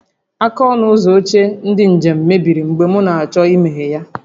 Aka ọnụ ụzọ oche ndị njem mebiri mgbe m na-achọ imeghe ya